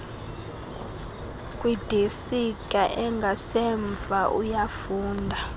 kwidesika engasemva uyafunda